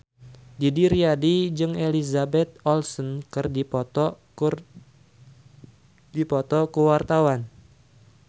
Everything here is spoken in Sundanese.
Didi Riyadi jeung Elizabeth Olsen keur dipoto ku wartawan